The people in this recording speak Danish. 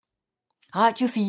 Radio 4